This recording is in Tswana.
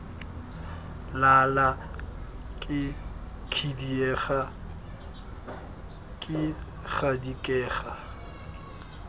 lala ke khidiega ke gadikega